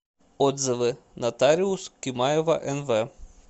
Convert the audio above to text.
отзывы нотариус кимаева нв